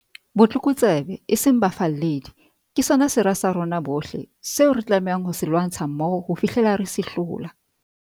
Botlokotsebe, e seng bafalledi, ke sona sera sa rona bohle, seo re tlamehang ho se lwantsha mmoho ho fihlela re se hlola.